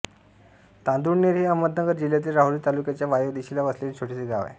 तांदुळनेर हे अहमदनगर जिल्ह्यातील राहुरी तालुक्याच्या वायव्य दिशेला वसलेले छोटेसे गाव आहे